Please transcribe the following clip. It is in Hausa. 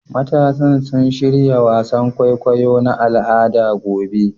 Matasan suna shirya wasan kwaikwayo na al'ada gobe